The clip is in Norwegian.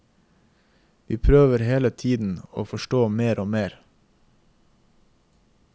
Vi prøver hele tiden å forstå mer og mer.